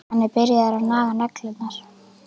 Hann er byrjaður að naga neglurnar.